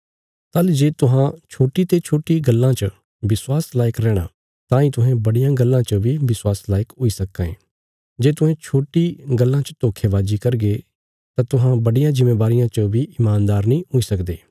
ताहली जे तुहां छोट्टी ते छोट्टी गल्लां च विश्वास लायक रैहणा तांई तुहें बड्डियां गल्लां च बी विश्वास लायक हुई सक्कां ये जे तुहें छोट्टी गल्लां च धोखेवाजी करगे तां तुहां बड्डिया जिम्मेवारिया च बी ईमानदार नीं हुई सकदे